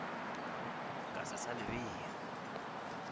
ka se sa le bea